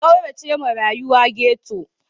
Ka kauracewa rayuwa ghetto.